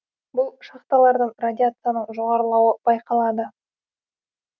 бұл шахталардан радияцияның жоғарылауы байқалды